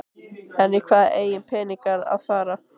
En í hvað eiga peningarnir að fara?